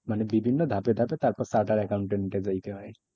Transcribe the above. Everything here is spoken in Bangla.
মানে বিভিন্ন ধাপে ধাপে তারপর chartered accountant এর ওই টা হয়।